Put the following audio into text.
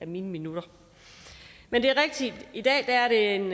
mine minutter men det er rigtigt at i dag er en